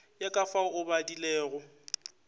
ya ka fao o badilego